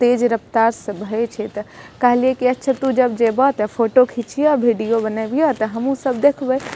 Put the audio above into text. तेज रफ्तार से बहे छै ते कहलिये तू जेभा ते फोटो खींचया वीडियो बनाभिया ते हम्हू सब देखबे।